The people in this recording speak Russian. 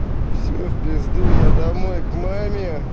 всё в пизду я домой к маме